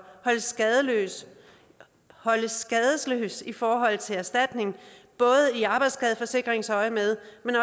holdes skadesløs holdes skadesløs i forhold til erstatning både i arbejdsskadeforsikringsøjemed